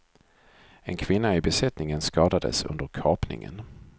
En kvinna i besättningen skadades under kapningen.